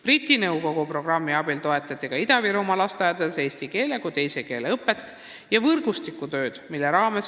Briti Nõukogu programmi abil on toetatud eesti keele kui teise keele õpet ja võrgustikutööd Ida-Virumaa lasteaedades.